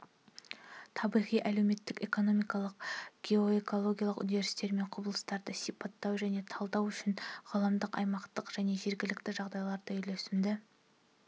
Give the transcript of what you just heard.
табиғи әлеуметтік-экономикалық геоэкологиялық үдерістер мен құбылыстарды сипаттау және талдау үшін ғаламдық аймақтық және жергілікті жағдайларды үйлесімді